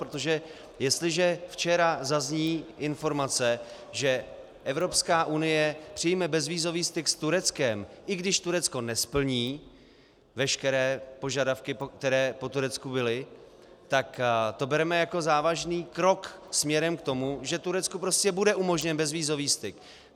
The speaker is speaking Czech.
Protože jestliže včera zazní informace, že Evropská unie přijme bezvízový styk s Tureckem, i když Turecko nesplní veškeré požadavky, které po Turecku byly, tak to bereme jako závažný krok směrem k tomu, že Turecku prostě bude umožněn bezvízový styk.